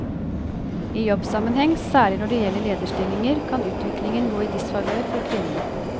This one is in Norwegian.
I jobbsammenheng, særlig når det gjelder lederstillinger, kan utviklingen gå i disfavør for kvinnen.